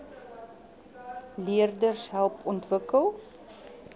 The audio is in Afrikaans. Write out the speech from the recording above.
leerders help ontwikkel